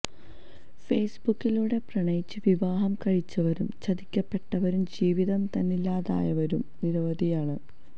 ഫേസ്ബുക്കിലൂടെ പ്രണയിച്ച് വിവാഹം കഴിച്ചവരും ചതിക്കപ്പെട്ടവരും ജീവിതം തന്നെ ഇല്ലാതായവരും നിരവധിയാണ്